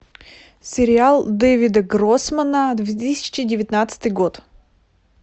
сериал дэвида гроссмана две тысячи девятнадцатый год